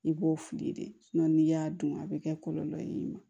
I b'o fili de n'i y'a dun a bɛ kɛ kɔlɔlɔ ye i ma